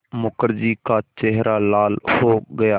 मुखर्जी का चेहरा लाल हो गया